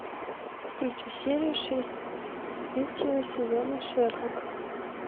включи серию шесть третьего сезона шерлок